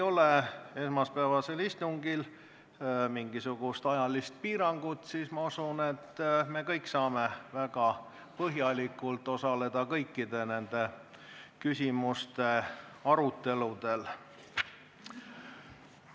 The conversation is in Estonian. Kuna esmaspäevasel istungil ei ole meil mingisugust ajalist piirangut, siis ma usun, et me kõik saame väga põhjalikult osaleda kõikide küsimuste arutelul.